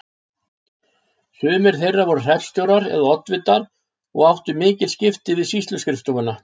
Sumir þeirra voru hreppstjórar eða oddvitar og áttu mikil skipti við sýsluskrifstofuna.